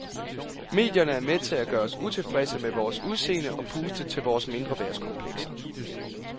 Medierne er med til at gøre os utilfredse med vores udseende og puste til vores mindreværdskomplekser.